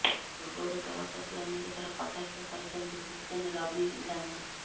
ପୂର୍ବରୁ ଦଳପ୍ରତି ଅନେକ ଥର କଟାକ୍ଷ କରିଛନ୍ତି ହୁସେନ ରବି ଗାନ୍ଧି